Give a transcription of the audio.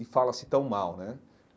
e fala-se tão mal, né?